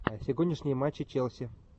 сегодняшний матч челси